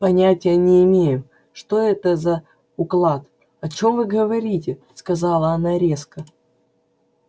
понятия не имею что это за уклад о чём вы говорите сказала она резко